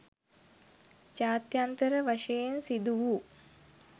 ජාත්‍යන්තර වශයෙන් සිදු වූ